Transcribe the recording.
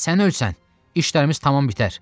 Sən ölsən, işlərimiz tamam bitər.